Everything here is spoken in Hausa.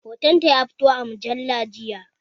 Hoton ta ya fito a mujalla jiya